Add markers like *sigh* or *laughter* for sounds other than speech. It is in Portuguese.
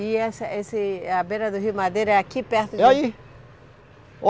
E essa, esse, a beira do rio Madeira é aqui perto de... É aí. *unintelligible*